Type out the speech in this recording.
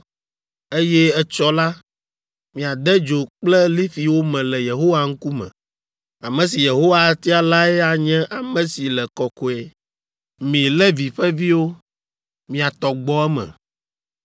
eye etsɔ la, miade dzo kple lifi wo me le Yehowa ŋkume. Ame si Yehowa atia lae anye ame si le kɔkɔe. Mi Levi ƒe viwo, mia tɔ gbɔ eme.”